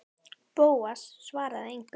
Bóas svaraði engu.